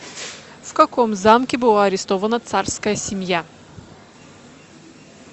в каком замке была арестована царская семья